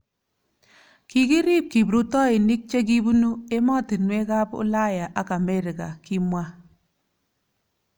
Kikiriib kiprutoinik che kibunu ematinwekab Ulaya ak Amerika ,Kimwa